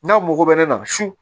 N'a mogo bɛ ne la su